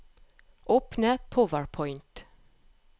Åpne PowerPoint